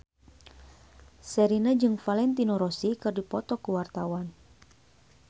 Sherina jeung Valentino Rossi keur dipoto ku wartawan